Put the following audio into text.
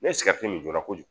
Ne ye min jɔra kojugu